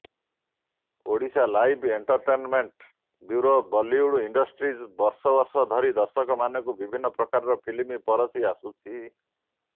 Odisha live entertainment bureau Bollywood industry ବର୍ଷ ବର୍ଷ ଧରି ଦର୍ଶକମାନଙ୍କୁ ବିଭିନ୍ନ ପ୍ରକାରର ଫିଲ୍ମ ପରଷି ଆସୁଛି